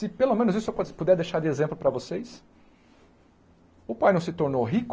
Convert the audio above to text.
Se pelo menos isso eu po puder deixar de exemplo para vocês, o pai não se tornou rico